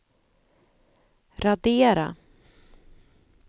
radera